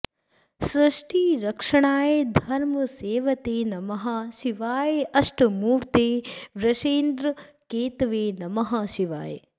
सृष्टिरक्षणाय धर्मसेतवे नमः शिवाय अष्टमूर्तये वृषेन्द्रकेतवे नमः शिवाय